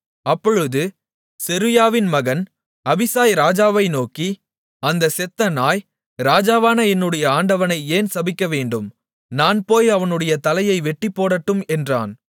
அப்பொழுது செருயாவின் மகன் அபிசாய் ராஜாவை நோக்கி அந்தச் செத்த நாய் ராஜாவான என்னுடைய ஆண்டவனை ஏன் சபிக்கவேண்டும் நான் போய் அவனுடைய தலையை வெட்டிப்போடட்டும் என்றான்